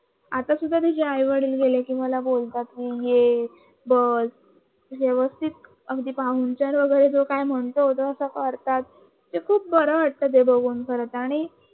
आता सुद्धा तिचे आई-वडील मी गेले की मला बोलतात तू ये बस व्यवस्थित अगदी ते पाहुणचार वगैरे काय म्हणत ते तसं करता खूप बरं वाटतं ते बघून